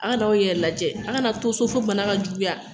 Aw ka na aw yɛrɛ lajɛ, aw kana to so, fo bana ka juguya